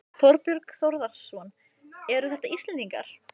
Þorbjörn Þórðarson: Eru þetta Íslendingar?